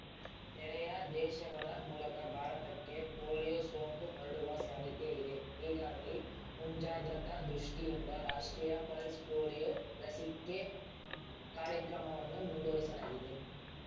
ನೆರೆಯ ದೇಶಗಳ ಮೂಲಕ ಭಾರತಕ್ಕೆ ಪೋಲಿಯೊ ಸೋಂಕು ಹರಡುವ ಸಾಧ್ಯತೆ ಇದೆ ಹೀಗಾಗಿ ಮುಂಜಾಗ್ರತಾ ದೃಷ್ಟಿಯಿಂದ ರಾಷ್ಟ್ರೀಯ ಪಲ್ಸ್‌ ಪೋಲಿಯೊ ಲಸಿಕೆ ಕಾರ್ಯಕ್ರಮವನ್ನು ಮುಂದುವರೆಸಲಾಗಿದೆ